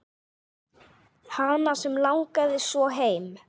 Hana sem langaði svo heim.